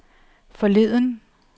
forleden